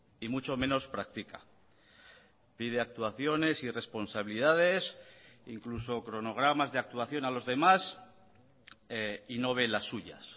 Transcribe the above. y mucho menos practica pide actuaciones y responsabilidades incluso cronogramas de actuación a los demás y no ve las suyas